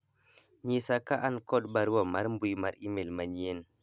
nyisa ka an kod barua mar mbui mar email manyien